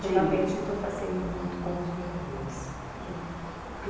Ultimamente estou fazendo muito com os moradores. Por